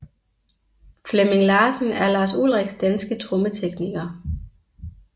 Flemming Larsen er Lars Ulrichs danske trommetekniker